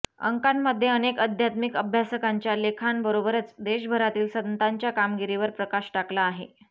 अंकामध्ये अनेक आध्यात्मिक अभ्यासकांच्या लेखांबरोबरच देशभरातील संतांच्या कामगिरीवर प्रकाश टाकला आहे